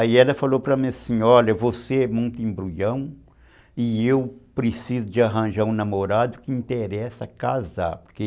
Aí ela falou para mim assim, olha, você é muito embruião e eu preciso de arranjar um namorado que interessa casar, porque...